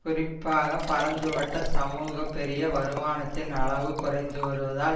குறிப்பாக பரந்துபட்ட சமூக பெரிய வருமானத்தின் அளவு குறைந்து வருவதால்